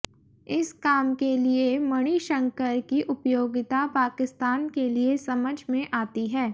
इस काम के लिए मणिशंकर की उपयोगिता पाकिस्तान के लिए समझ में आती है